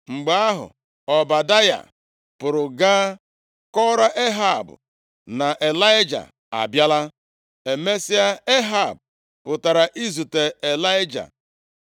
Mgbe ahụ, Ọbadaya pụrụ gaa kọọrọ Ehab na Ịlaịja abịala. Emesịa, Ehab pụtara izute Ịlaịja.